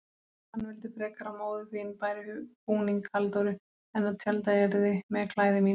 Hann vildi frekar að móðir þín bæri búning Halldóru en tjaldað yrði með klæði mínu.